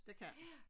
Det kan han